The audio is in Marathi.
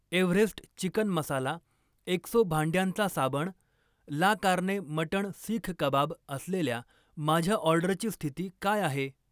एव्हरेस्ट चिकन मसाला, एक्सो भांड्यांचा साबण, la carne mutton seekh kebab असलेल्या माझ्या ऑर्डरची स्थिती काय आहे?